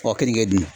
Kɔ keninke